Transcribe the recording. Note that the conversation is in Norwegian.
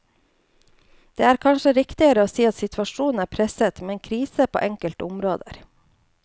Det er kanskje riktigere å si at situasjonen er presset, med krise på enkelte områder.